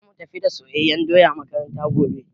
Zamu tafi da soyayyen doya makaranta gobe